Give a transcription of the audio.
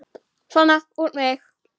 Svona, út með þig!